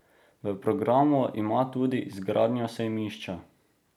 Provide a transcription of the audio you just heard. V programu ima tudi izgradnjo sejmišča.